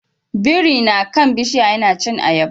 Biri na kan bishiya yana cin ayaba